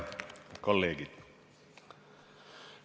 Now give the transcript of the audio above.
Head kolleegid!